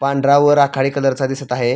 पांढरा व राखाडी कलर चा दिसत आहे.